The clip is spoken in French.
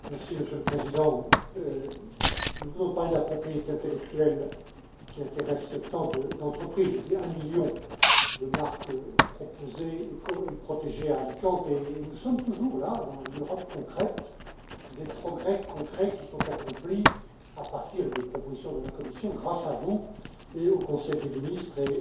Monsieur le Président, nous venons de parler de la propriété intellectuelle qui intéresse tant d'entreprises, j'ai évoqué un million de marques proposées et protégées à Alicante, et nous sommes toujours là dans l'Europe concrète des progrès concrets à accomplir à partir des propositions de la Commission, grâce à vous et au Conseil des ministres.